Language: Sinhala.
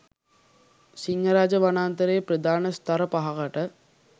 සිංහරාජ වනාන්තරයේ ප්‍රධාන ස්ථර පහකට